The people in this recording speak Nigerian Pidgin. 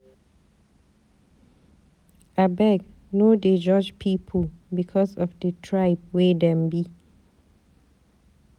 Abeg no dey judge pipu because of di tribe wey dem be.